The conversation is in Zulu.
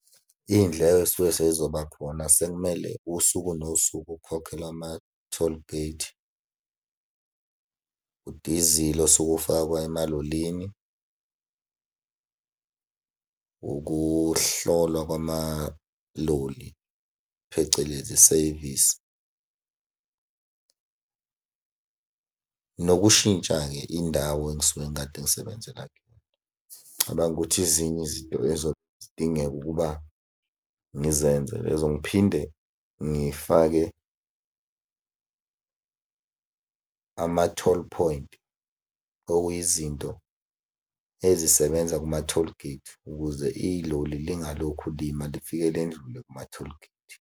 Iy'ndleko ey'suke sey'zoba khona sekumele usuku nosuku ukhokhele ama-tollgate, udizili osuke ufakwa emalolini, ukuhlolwa kwamaloli phecelezi isevisi. Nokushintsha-ke indawo engisuke ngikade ngisebenzela kuyona. Ngicabanga ukuthi ezinye izinto ey'zobe zidingeka ukuba ngizenze lezo ngiphinde ngifake ama-toll point, okuyizinto ezisebenza kuma-tollgate, ukuze iloli lingalokhu lima, lifike ledlule kuma-tollgate.